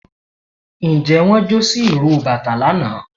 njẹ won jo si iró batà lana?